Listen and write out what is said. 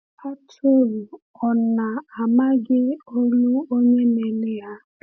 Atụrụ ò na-amaghị olu onye na-ele ha?